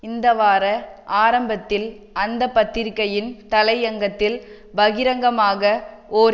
இந்த வார ஆரம்பத்தில் அந்த பத்திரிகையின் தலையங்கத்தில் பகிரங்கமாக ஓர்